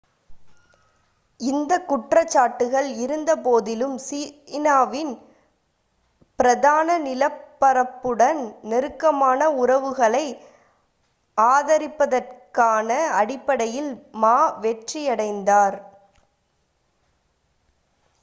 இந்தக் குற்றச்சாட்டுகள் இருந்தபோதிலும் சீனாவின் பிரதான நிலப்பரப்புடன் நெருக்கமான உறவுகளை ஆதரிப்பதற்கான அடிப்படையில் மா வெற்றியடைந்தார்